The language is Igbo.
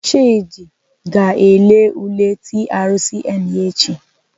Chidi ga-ele ule TRCN ya echi.